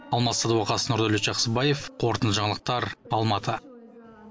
алмас садуақас нұрдәулет жақсыбаев қорытынды жаңалықтар алматы